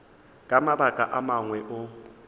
ka mabaka a mangwe o